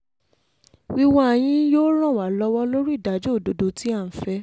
wíwá yín yóò ràn ràn wá lọ́wọ́ lórí ìdájọ́ òdodo tí à ń fẹ́